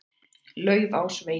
Laufásvegi